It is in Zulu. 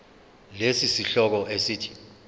lesi sihloko esithi